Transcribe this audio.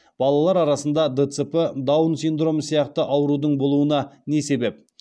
балалар арасында дцп даун синдромы сияқты аурудың болуына не себеп